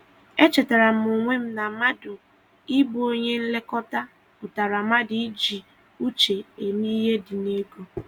E chetara m onwe m na mmadụ ị bụ onye nlekọta pụtara mmadụ iji uche eme ihe dị n'ego.